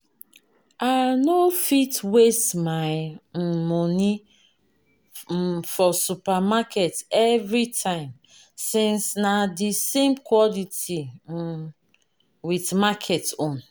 I no fit waste my um money um for supermarket everytime since na de same quality um with market own.